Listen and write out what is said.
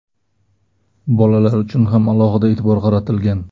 Bolalar uchun ham alohida e’tibor qaratilgan.